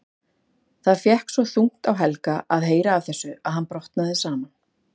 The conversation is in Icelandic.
Það fékk svo þungt á Helga að heyra af þessu að hann brotnaði saman.